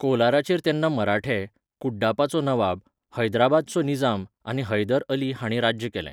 कोलाराचेर तेन्ना मराठे, कुड्डापाचो नवाब, हैदराबादचो निजाम आनी हैदर अली हांणी राज्य केलें.